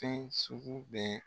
Fɛn sugu bɛɛ